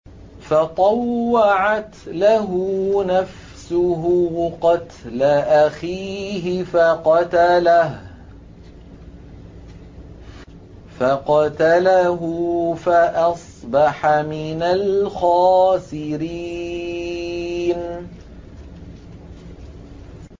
فَطَوَّعَتْ لَهُ نَفْسُهُ قَتْلَ أَخِيهِ فَقَتَلَهُ فَأَصْبَحَ مِنَ الْخَاسِرِينَ